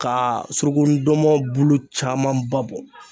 Ka suruku ndɔmɔn bulu camanba bɔ